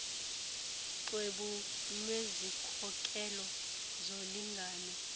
xwebhu lwezikhokelo zolingano